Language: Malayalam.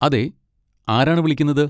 അതെ, ആരാണ് വിളിക്കുന്നത്?